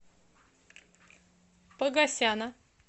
погосяна